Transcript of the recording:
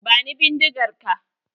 Bani bindigar ka!